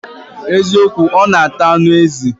Eziokwu, o n ata anu ezi